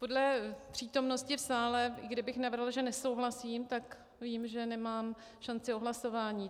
Podle přítomnosti v sále, kdybych navrhla, že nesouhlasím, tak vím, že nemám šanci o hlasování.